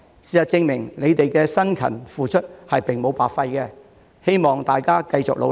事實證明他們的辛勤付出並無白費，希望大家繼續努力。